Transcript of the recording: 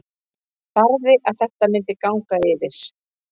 Barði að þetta myndi ganga yfir.